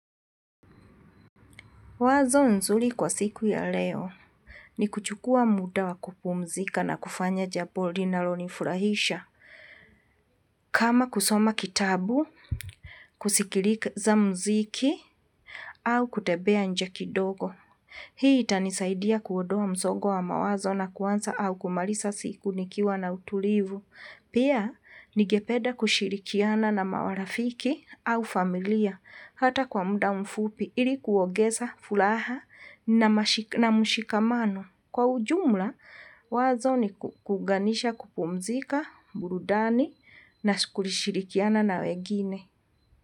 Wazo nzuri kwa siku ya leo ni kuchukua muda wa kupumzika na kufanya jabo linalonifurahisha. Kama kusoma kitabu, kusikirika za mziki au kutebea nje kidogo. Hii itanisaidia kuodoa mzogo wa mawazo na kuanza au kumalisa siku nikiwa na utulivu. Pia ningepeda kushirikiana na marafiki au familia hata kwa muda mfupi ili kuogeza fulaha na mshikamano. Kwa ujumla wazo ni kuuganisha kupumzika, burudani na kushirikiana na wegine.